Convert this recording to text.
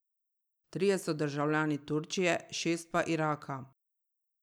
Trije so državljani Turčije, šest pa Iraka.